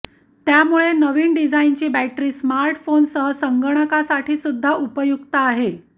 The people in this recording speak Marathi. त्यामुळे नवीन डिझाईनची बॅटरी स्मार्टफोन सह संगणकासाठी सुद्धा उपयुक्त आहे